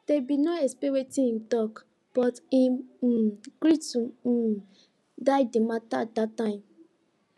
dem bin no expect wetin him tok but him um gree to um die de mata dat time